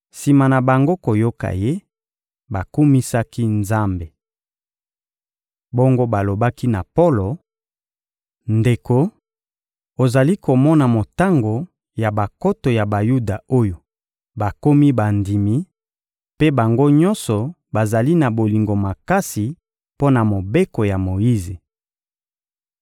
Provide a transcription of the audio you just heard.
Sima na bango koyoka ye, bakumisaki Nzambe. Bongo balobaki na Polo: — Ndeko, ozali komona motango ya bankoto ya Bayuda oyo bakomi bandimi, mpe bango nyonso bazali na bolingo makasi mpo na Mobeko ya Moyize.